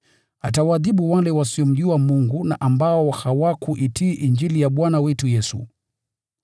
Atawaadhibu wale wasiomjua Mungu na ambao hawakuitii Injili ya Bwana wetu Yesu.